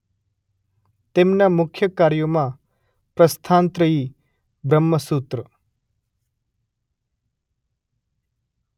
તેમના મુખ્ય કાર્યોમાં પ્રસ્થાનત્રયી બ્રહ્મસૂત્ર